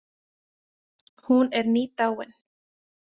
Hún er nýdáin.